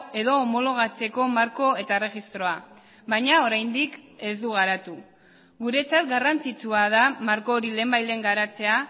edo homologatzeko marko eta erregistroa baina oraindik ez du garatu guretzat garrantzitsua da marko hori lehenbailehen garatzea